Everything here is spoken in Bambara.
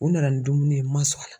U nana ni dumuni ye n ma sɔn a la.